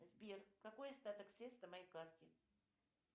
сбер какой остаток средств на моей карте